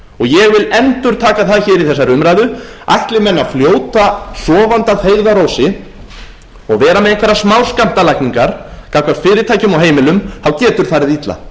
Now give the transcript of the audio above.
ég vil endurteka það hér í þessari umræðu ætli menn að fljóta sofandi að feigðarósi og vera með einhverjar smáskammtalækningar gagnvart fyrirtækjum og heimilum getur farið illa